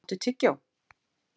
Denni, áttu tyggjó?